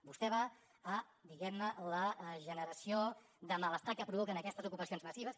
vostè va a diguem ne la generació de malestar que provoquen aquestes ocupacions massives